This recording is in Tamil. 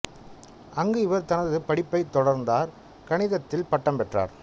அங்கு இவர் தனது படிப்பைத் தொடர்ந்தார் கணிதத்தில் பட்டம் பெற்றார்